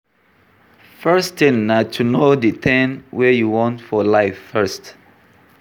First thing na to know di thing wey you want for life first